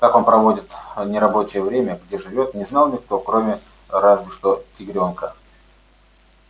как он проводит нерабочее время где живёт не знал никто кроме разве что тигрёнка